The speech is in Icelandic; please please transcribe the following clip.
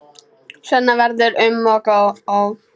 Svenna verður um og ó.